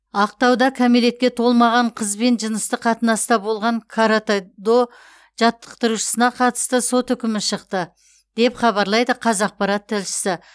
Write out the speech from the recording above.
ақтауда кәмелетке толмаған қызбен жыныстық қатынаста болған каратэ до жаттықтырушысына қатысты сот үкімі шықты деп хабарлайды қазақпарат тілшісі